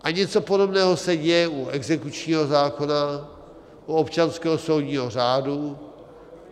A něco podobného se děje u exekučního zákona, u občanského soudního řádu.